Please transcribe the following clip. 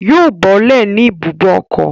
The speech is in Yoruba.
Yóò bọ́lẹ̀ ní ibùbókọ̀